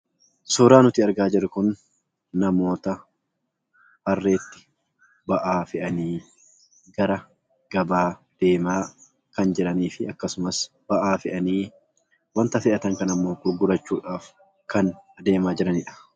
Suuraan nuti argaa jirru kun namoota harreetti ba'aa fe'anii, gara gabaa deemaa kan jiraniifi akkasumas ba'aa fe'anii, wanta fe'an kan ammoo gurgurachuudhaaf kan deemaa jiranidha.